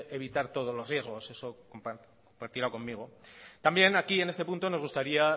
evitar todos los riesgos eso lo compartirá conmigo también aquí en este punto nos gustaría